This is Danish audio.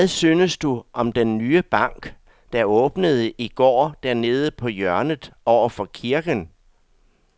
Hvad synes du om den nye bank, der åbnede i går dernede på hjørnet over for kirken?